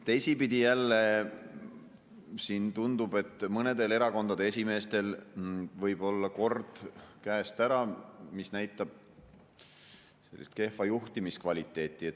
Teisipidi jälle tundub, et mõnedel erakondade esimeestel võib olla kord käest ära, mis näitab sellist kehva juhtimiskvaliteeti.